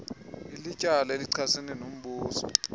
ilityala elichasene nombuso